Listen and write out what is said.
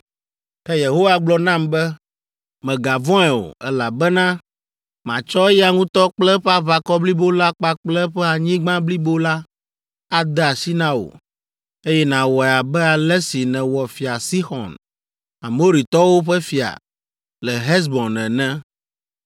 Ke Yehowa gblɔ nam be, “Mègavɔ̃e o, elabena matsɔ eya ŋutɔ kple eƒe aʋakɔ blibo la kpakple eƒe anyigba blibo la ade asi na wò; eye nawɔe abe ale si nèwɔ Fia Sixɔn, Amoritɔwo ƒe fia, le Hesbon ene.”